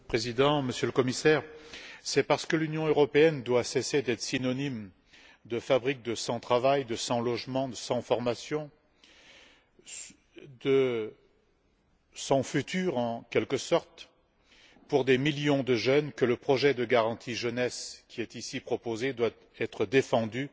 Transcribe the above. Monsieur le Président, Monsieur le Commissaire, c'est parce que l'Union européenne doit cesser d'être synonyme de fabrique de sans travail, de sans logement, de sans formation, de sans futur, en quelque sorte, pour des millions de jeunes que le projet de garantie jeunesse, qui est ici proposé, doit être défendu